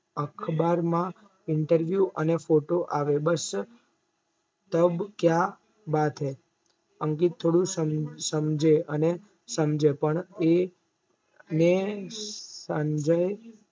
અખબારમાં interview અને photo આવે બસ तब क्या बात हैं અંકિત થોડું સમજે અને સમજે પણ એને સંજય